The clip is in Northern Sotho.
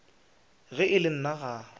ge e le nna ga